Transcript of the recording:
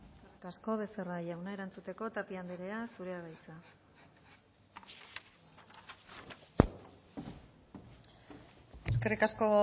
eskerrik asko becerra jauna erantzuteko tapia andrea zurea da hitza eskerrik asko